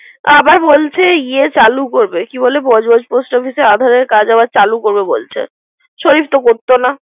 আবার বলছে গিয়ে চালু করবে। কি বলে পোস্ট অফিসে আবর কাজ আবার চারু করবে বলছে। শরিফ তো করতো না।